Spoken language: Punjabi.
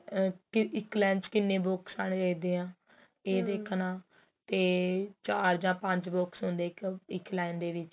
ਇੱਕ lane ਚ ਕਿੰਨੇ box ਆਨੇ ਚਾਹੀਦੇ ਏ ਤੇ ਚਾਰ ਜਾਂ ਪੰਜ box ਹੁੰਦੇ ਹੈ ਇੱਕ ਲਾਇਨ ਦੇ ਵਿੱਚ